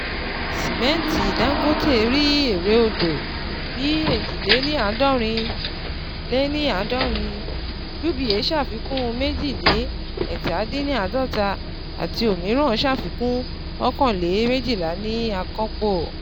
Simẹnti Dangote rí èrè odò lẹ èjì lé ní àádọ́rin, lé ní àádọ́rin, UBA ṣàfikún méjì lé ẹ̀ta dín ní àádọ́ta àti òmíràn ṣàfikún ọkan le méjìlá ní àkànpọ̀.